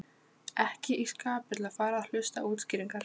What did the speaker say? Ekki í skapi til að fara að hlusta á útskýringar.